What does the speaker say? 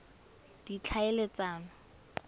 ditlhaeletsano